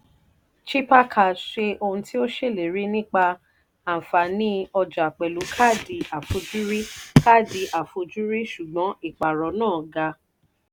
chipper cash ṣe ohun tí ó ṣèlérí nípa àfààní ọjà pẹ̀lú káàdì àfojúrí káàdì àfojúrí ṣùgbọ́n ìpààrọ̀ náà ga.